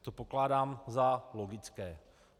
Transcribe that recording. To pokládám za logické.